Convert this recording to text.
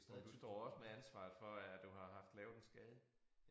Og du står også med ansvaret for at du har haft lavet en skade